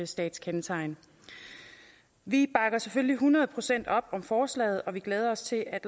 statskendetegn vi bakker selvfølgelig hundrede procent op om forslaget og vi glæder os til at